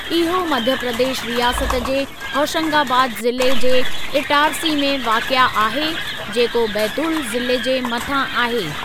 इहो मध्य प्रदेश रियासत जे होशंगाबाद ज़िले जे इटारसी में वाक़िए आहे, जेको बैतूल ज़िले जे मथां आहे।